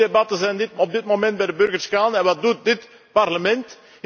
Al die debatten zijn op dit moment bij de burgers gaande. En wat doet dit Parlement?